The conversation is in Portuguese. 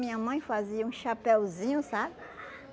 Minha mãe fazia um chapéuzinho, sabe?